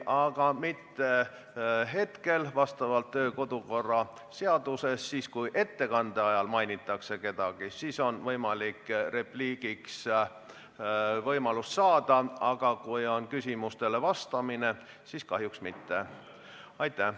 Aga mitte hetkel, sest kodu- ja töökorra seaduse järgi on nii, et kui ettekandes kedagi mainitakse, siis on võimalik repliigiks sõna saada, aga kui on küsimustele vastamine, siis kahjuks mitte.